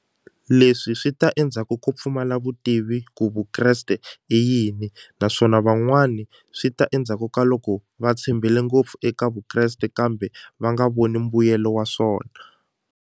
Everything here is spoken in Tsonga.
Leswi swi ta endzhaku ko pfumala vutivi ku Vukreste i yini naswona van'wani swi ta endzhaku ka loko va tshembile ngopfu eka Vukreste kambe va nga voni mbuyelo wa swona.